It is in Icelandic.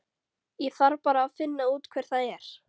Ég þarf bara að finna út hver það er.